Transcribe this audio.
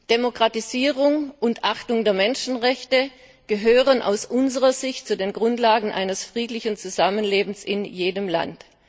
Demokratisierung und Achtung der Menschenrechte gehören aus unserer Sicht zu den Grundlagen eines friedlichen Zusammenlebens in jedem Land.